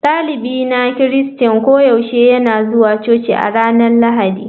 Dalibin na Kirista koyaushe yana zuwa coci a ranar Lahadi.